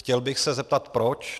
Chtěl bych se zeptat proč.